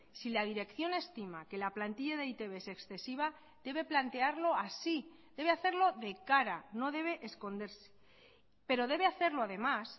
si la dirección estima que la plantilla de e i te be es excesiva debe plantearlo así debe hacerlo de cara no debe esconderse pero debe hacerlo además